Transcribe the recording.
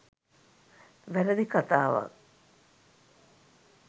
වැරදි කථාවක්.